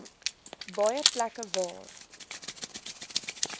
baie plekke waar